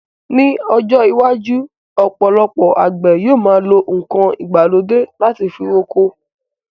Ní ọjọ́ iwájú, ọ̀pọ̀lọpọ̀ àwọn àgbè yọ ma lo nkan ìgbàlódé láti fi roko.